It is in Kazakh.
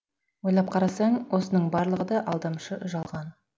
ойлап қарасаң осының барлығы да алдамшы жалған